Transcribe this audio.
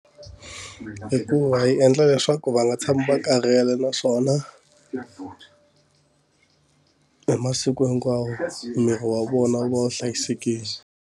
Hikuva yi endla leswaku va nga tshami va karhele naswona hi masiku hinkwawo miri wa vona wu va wu hlayisekile.